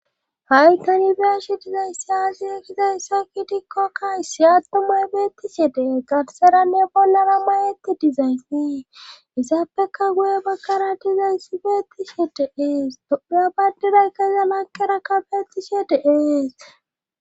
Hay kanibeeshi dizaysaasi kizayssa kitikko kaysi attumay beettishe dee garseranne bonlara mayeti dizaysee isappeka guye bakkara dizayssi beettishe deees dodhiya baddiday keesa makera kafettishe deees